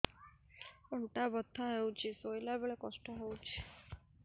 ଅଣ୍ଟା ବଥା ହଉଛି ଶୋଇଲା ବେଳେ କଷ୍ଟ ହଉଛି